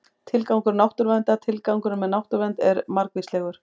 Tilgangur náttúruverndar Tilgangurinn með náttúruvernd er margvíslegur.